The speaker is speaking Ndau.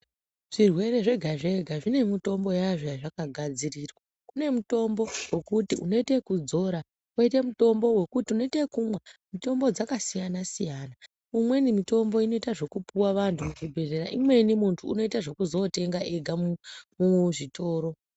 Zvirwere zvega zvega zvine mitombo yazvo yazvakagadzirirwa kune mitombo yekuti unoita zvekudzora koita mitombo wekuti unoita wekumwa mitombo dzakasiyana siyana umweni mutombo unoita zvekupiwa vanhu kuzvibhedhlera imweni muntu unoita zvekuzotenga ega kuzvitoro .